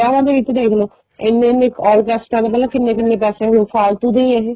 ਵਿੱਚ ਦੇਖ ਲੋ ਇੰਨੇ ਇੰਨੇ orchestra ਮਤਲਬ ਕਿੰਨੇ ਕਿੰਨੇ ਪੈਸੇ ਫਾਲਤੂ ਦੇ ਈ ਏ ਇਹ